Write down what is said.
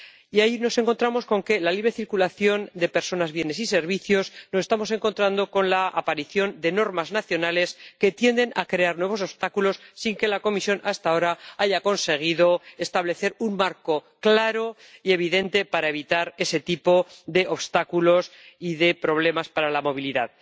Y ahí nos encontramos, en relación con la libre circulación de personas, bienes y servicios, con la aparición de normas nacionales que tienden a crear nuevos obstáculos, sin que la Comisión hasta ahora haya conseguido establecer un marco claro y evidente para evitar ese tipo de obstáculos y de problemas para la movilidad.